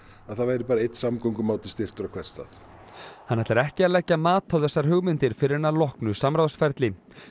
að það væri bara einn samgöngumáti styrktur á hvern stað hann ætlar ekki að leggja mat á þessar hugmyndir fyrr en að loknu samráðsferli